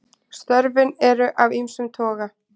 Störfin eru af ýmsum toga.